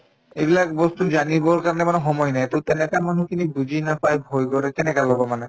এইবিলাক বস্তু জানিবৰ কাৰণে মানে সময় নাই to তেনেকা মানুহখিনিক বুজি নাপাই ভয় কৰে কেনেকে লব মানে